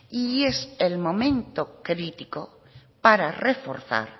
y es el momento crítico para reforzar